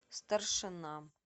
старшина